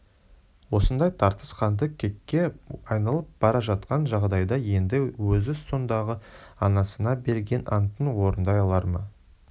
осындай тартыс қанды кекке айналып бара жатқан жағдайда енді өзі сондағы анасына берген антын орындай алар ма